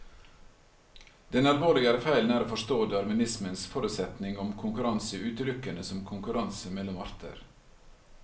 Den alvorligere feilen er å forstå darwinismens forutsetning om konkurranse utelukkende som konkurranse mellom arter.